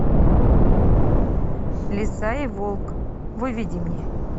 лиса и волк выведи мне